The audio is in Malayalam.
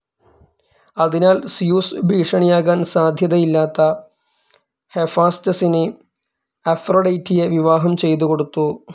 അതിനാൽ സ്യൂസ് ഭീഷണിയാകാൻ സാധ്യതയില്ലാത്ത ഹെഫാസ്റ്റസിന് അഫ്രൊഡൈറ്റിയെ വിവാഹം ചെയ്തുകൊടുത്തു.